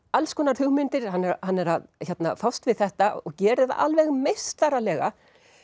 alls konar hugmyndir hann er að fást við þetta og gerir það alveg meistaralega